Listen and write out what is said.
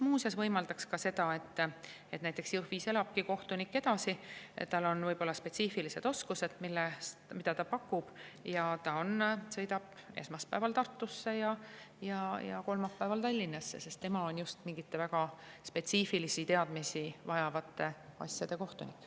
See võimaldaks ka seda, et kohtunik näiteks elab Jõhvis edasi, aga kui tal on teatud spetsiifilised oskused, siis ta sõidab esmaspäeval Tartusse ja kolmapäeval Tallinnasse, sest ta on just mingite väga spetsiifilisi teadmisi vajavate asjade kohtunik.